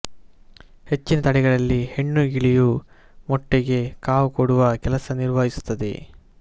ಹೆಚ್ಚಿನ ತಳಿಗಳಲ್ಲಿ ಹೆಣ್ಣು ಗಿಳಿಯು ಮೊಟ್ಟೆಗೆ ಕಾವುಕೊಡುವ ಕೆಲಸ ನಿರ್ವಹಿಸುತ್ತದೆ